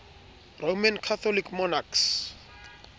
roman catholic monarchs